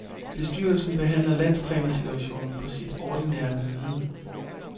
Bestyrelsen behandler landstrænersituationen på sit ordinære møde.